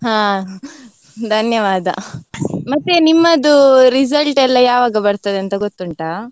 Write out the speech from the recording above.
ಹಾ ಧನ್ಯವಾದ, ಮತ್ತೆ ನಿಮ್ಮದು result ಎಲ್ಲಾ ಯಾವಾಗ ಬರ್ತದಂತ ಗೊತ್ತುಂಟಾ?